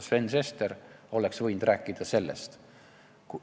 Sven Sester oleks võinud rääkida sellest.